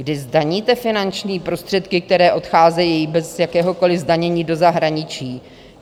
Kdy zdaníte finanční prostředky, které odcházejí bez jakéhokoliv zdanění do zahraničí?